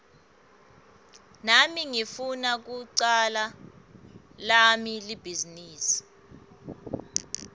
nami ngifuna kucala lami libhizinisi